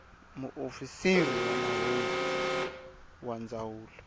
muofisiri wa mahungu wa ndzawulo